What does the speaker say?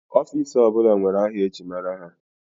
Ọfiks ọ bụla nwere aha eji mara ha.